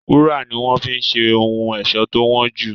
Wúrà ni wọ́n fi ń ṣe ohun ẹ̀ṣọ́ tó wọ́n jù.